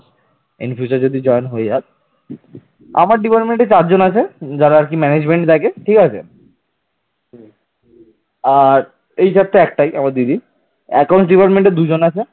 আর এই চারটে একটাই আমার দিদির account department দুজন আছে